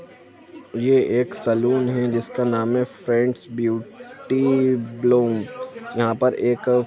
ये एक सैलून हैं जिसका नाम हैं फ्रेंड्स ब्यूटी ब्लूम । यहाँ पर एक---